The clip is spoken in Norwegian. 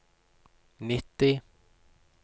nitti